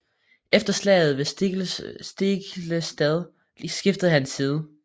Efter slaget ved Stiklestad skiftede han side